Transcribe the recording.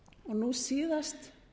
nú síðast